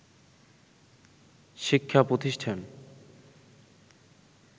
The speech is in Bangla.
শিক্ষা প্রতিষ্ঠান